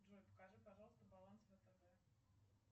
джой покажи пожалуйста баланс втб